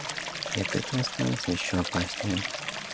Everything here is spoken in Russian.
и от этого становится ещё опаснее